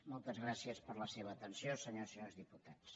moltes gràcies per la seva atenció senyores i senyors diputats